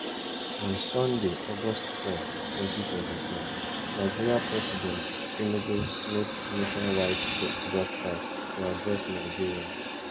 on sunday august 4 2024 nigeria president tinubu make nationwide broadcast to address nigerians